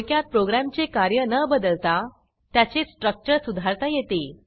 थोडक्यात प्रोग्रॅमचे कार्य न बदलता त्याचे स्ट्रक्चर सुधारता येते